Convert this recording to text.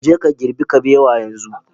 Je ka girbi kabewa yanzu